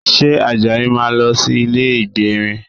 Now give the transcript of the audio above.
Ṣé Àjàyí máa lọ sí ilé ìgbérin?